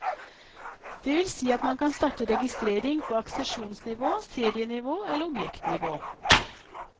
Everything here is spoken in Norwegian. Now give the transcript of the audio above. Det vil si at man kan starte registrering på aksesjonsnivå, serienivå eller objektnivå.